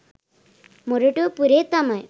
මොරටු පුරේ තමයි.